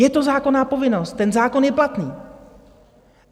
Je to zákonná povinnost, ten zákon je platný.